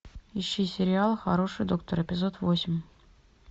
ищи сериал хороший доктор эпизод восемь